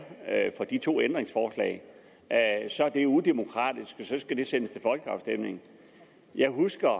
for de to ændringsforslag er udemokratisk og så skal det sendes til folkeafstemning jeg husker